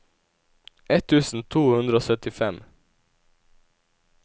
ett tusen to hundre og syttifem